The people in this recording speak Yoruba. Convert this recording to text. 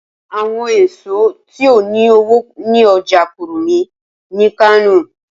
Awọn eso ti o ni owo ni ọja Kurmi ni Kano